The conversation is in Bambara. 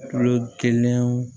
Kulo kelen